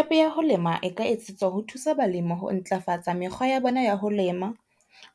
App ya ho lema e ka etsetswa ho thusa balimi ho ntlafatsa mekgwa ya bona ya ho lema,